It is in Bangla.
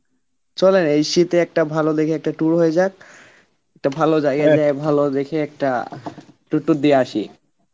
চলেন এই শীতে একটা ভাল দেখে একটা tour হয়ে যাক একটা ভালো জায়গায় গিয়া ভালো দেখে একটা tour tour দিয়া আসি